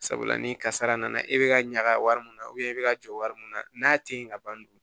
Sabula ni kasara nana e bɛ ka ɲaga wari mun na e bɛ ka jɔ wari mun na n'a te yen ka ban